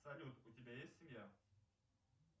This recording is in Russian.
салют у тебя есть семья